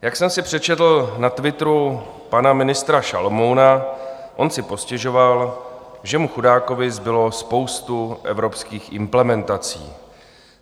Jak jsem si přečetl na Twitteru pana ministra Šalomouna, on si postěžoval, že mu chudákovi zbyla spousta evropských implementací.